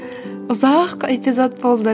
ұзақ эпизод болды